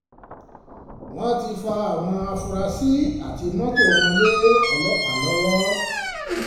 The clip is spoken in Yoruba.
wọ́n ti fa àwọn afurasí àti mọ́tò àti mọ́tò wọn lé ọlọ́pàá lọ́wọ́